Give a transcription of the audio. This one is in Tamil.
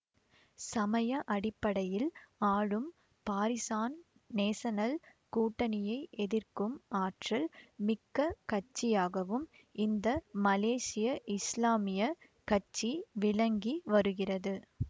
சமய அடிப்படையில் ஆளும் பாரிசான் நேசனல் கூட்டணியை எதிர்க்கும் ஆற்றல் மிக்க கட்சியாகவும் இந்த மலேசிய இஸ்லாமிய கட்சி விளங்கி வருகிறது